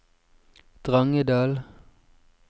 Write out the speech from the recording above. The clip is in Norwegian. Drangedal